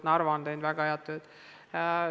Narva on teinud väga head tööd.